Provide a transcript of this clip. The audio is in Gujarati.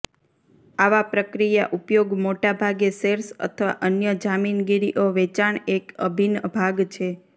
આવા પ્રક્રિયા ઉપયોગ મોટા ભાગે શેર્સ અથવા અન્ય જામીનગીરીઓ વેચાણ એક અભિન્ન ભાગ છે